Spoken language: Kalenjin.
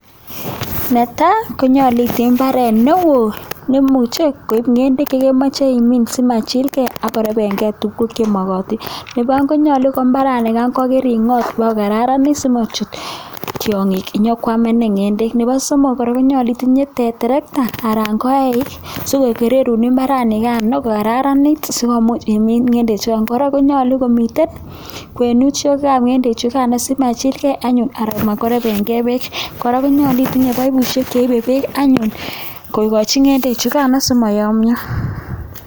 Netai koyache itinye imbaret neon neimuche koib ngendek chekemache imin simachil gei ako rebenge tuguk chamakararanen Nebo aeng ko mbaranigan koyache ingot kobakokararanit simachut tiangik konyokwamenin ngendek Nebo somok koraa koyache itinye terekta anan koyeik sikokererun mbarani nikano kokararanit sikumuch imin ngendek choton konyalu komiten kwenushek ab ngendek choton simachil gei anyun ak matkorebengei bek koraa konyalu itinye baibushek anyun kokachin ngendek chukan koyamia